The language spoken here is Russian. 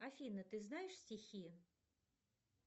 афина ты знаешь стихи